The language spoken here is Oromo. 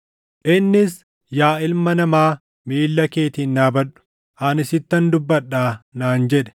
Innis, “Yaa ilma namaa, miilla keetiin dhaabadhu; ani sittan dubbadhaa” naan jedhe.